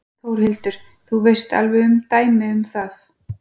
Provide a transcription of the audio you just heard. Þórhildur: Þú veist alveg um dæmi um það?